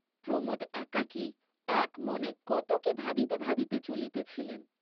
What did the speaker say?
প্রমোদ একাকী একমনে কত কি ভাবিতে ভাবিতে চলিতেছিলেন।